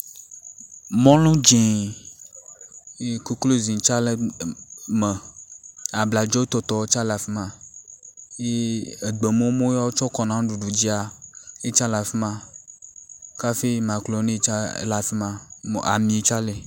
Mɔlu dzi ye koklozi tas le em em me, abladzotɔtɔ tsa le afi ma eye egbemumu yi wotsɔ kɔna nuɖuɖu dzia yitsa le afi ma kafi makaɖoni tsa le afi ma ami tsa li.